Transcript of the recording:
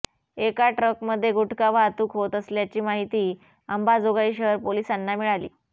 एका ट्रकमध्ये गुटखा वाहतूक होत असल्याची माहिती अंबाजोगाई शहर पोलिसांना मिळाली